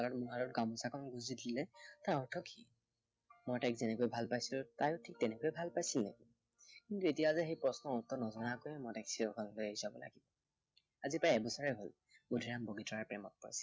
মূৰত গামোচাখন গুজি দিলে তাৰ অন্তৰত সি মই তাইক যেনেকৈ ভাল পাইছিলো, তাইও ঠিক তেনেকৈয়ে ভাল পাইছিলে কিন্তু এতিয়া যে সেই প্ৰশ্নৰ উত্তৰ নোহোৱাকৈয়ে মই তাইক চিৰদিনৰ বাবে এৰি যাব লাগিব। আজি প্ৰায় এবছৰেই হল, বুদ্ধিৰামে বগীতৰাক